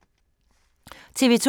TV 2